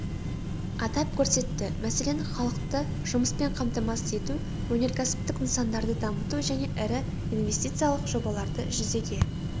атап көрсетті мәселен халықты жұмыспен қамтамасыз ету өнеркәсіптік нысандарды дамыту және ірі инвестициялық жобаларды жүзеге